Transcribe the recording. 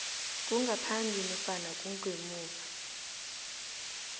kungaphambi nofana kungemuva